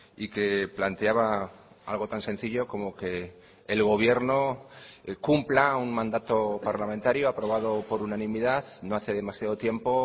y que planteaba algo tan sencillo como que el gobierno cumpla un mandato parlamentario aprobado por unanimidad no hace demasiado tiempo